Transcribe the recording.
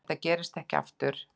Þetta gerist ekki aftur.